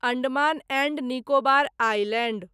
Andaman and Nicobar island